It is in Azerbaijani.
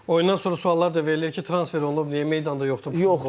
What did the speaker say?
Oyundan sonra suallar da verilir ki, transfer olunub, niyə meydanda yoxdur bu futbolçu?